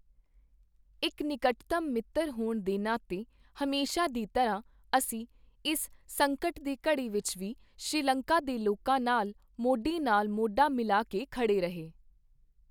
ਇੱਕ ਨਿਕਟਤਮ ਮਿੱਤਰ ਹੋਣ ਦੇ ਨਾਤੇ, ਹਮੇਸ਼ਾ ਦੀ ਤਰ੍ਹਾਂ, ਅਸੀਂ ਇਸ ਸੰਕਟ ਦੀ ਘੜੀ ਵਿੱਚ ਵੀ ਸ੍ਰੀਲੰਕਾ ਦੇ ਲੋਕਾਂ ਨਾਲ ਮੋਢੇ ਨਾਲ ਮੋਢਾ ਮਿਲਾ ਕੇ ਖੜ੍ਹੇ ਰਹੇ।